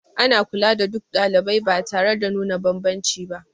Ana kula da duk ɗalibai ba tare da nuna banbanci ba